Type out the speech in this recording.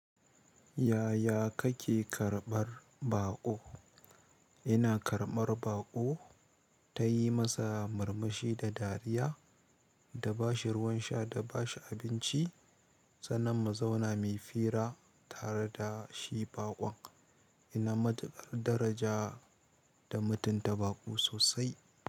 Yaya kake karɓar baƙo? Ina karɓar baƙo, tayi masa murmushi da dariya, da bashi ruwan sha da bashi abinci. Sannan mu zauna muyi fira tare da shi baƙon. Ina matukar daraja da mutunta baƙo sosai.